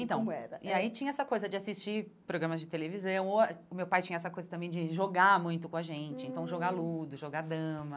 Então, e aí tinha essa coisa de assistir programas de televisão, ou o meu pai tinha essa coisa também de jogar muito com a gente, então jogar ludo, jogar dama.